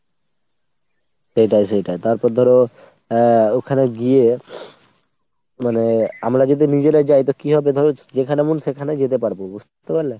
সেটাই সেটাই। তারপর ধরো আহ ওখানে গিয়ে মানে আমরা যদি নিজেরা যাই তো কি হবে ধরো যেখানে মন সেখানে যেতে পারবো বুঝতে পারলে ?